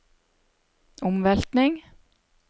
omveltning